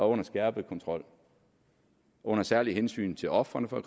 under skærpet kontrol under særlige hensyn til ofrene for